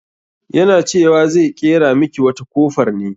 Yana cewa zai ƙera miki wata kofar ne.